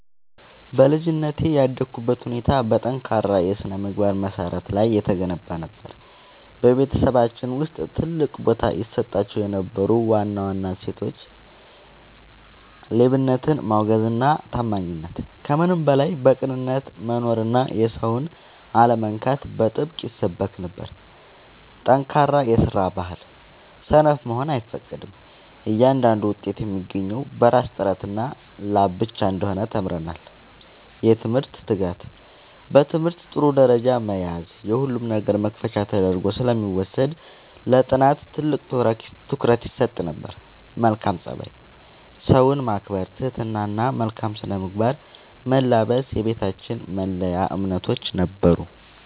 በልጅነቴ ያደግኩበት ሁኔታ በጠንካራ የሥነ-ምግባር መሠረት ላይ የተገነባ ነበር። በቤተሰባችን ውስጥ ትልቅ ቦታ ይሰጣቸው የነበሩ ዋና ዋና እሴቶች፦ ሌብነትን ማውገዝና ታማኝነት፦ ከምንም በላይ በቅንነት መኖርና የሰውን አለመንካት በጥብቅ ይሰበክ ነበር። ጠንካራ የስራ ባህል፦ ሰነፍ መሆን አይፈቀድም፤ እያንዳንዱ ውጤት የሚገኘው በራስ ጥረትና ላብ ብቻ እንደሆነ ተምረናል። የትምህርት ትጋት፦ በትምህርት ጥሩ ደረጃ መያዝ የሁሉም ነገር መክፈቻ ተደርጎ ስለሚወሰድ ለጥናት ትልቅ ትኩረት ይሰጥ ነበር። መልካም ፀባይ፦ ሰውን ማክበር፣ ትህትና እና መልካም ስነ-ምግባርን መላበስ የቤታችን መለያ እምነቶች ነበሩ።